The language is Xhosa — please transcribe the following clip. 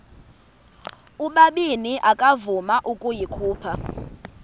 ubabini akavuma ukuyikhupha